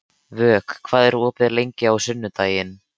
Vök, hvað er opið lengi á sunnudaginn?